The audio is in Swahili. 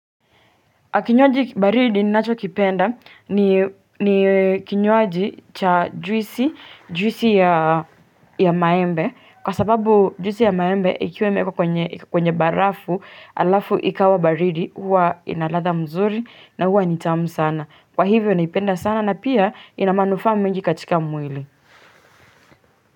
Kinywaji baridi ninacho kipenda ni kinywaji cha juisi, juisi ya maembe kwa sababu juisi ya maembe ikiwa imewekwa kwenye barafu alafu ikawa baridi huwa inaladha mzuri na huwa nitamu sana. Kwa hivyo naipenda sana na pia inamanufaa mengi katika mwili.